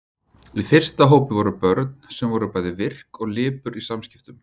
Í fyrsta hópi voru börn sem voru bæði virk og lipur í samskiptum.